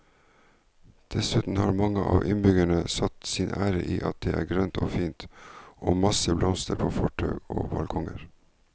Dessuten har mange av innbyggerne satt sin ære i at det er grønt og fint og masse blomster på fortau og balkonger.